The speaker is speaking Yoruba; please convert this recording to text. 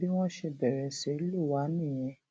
bí wọn ṣe bẹrẹ sí í lù wá nìyẹn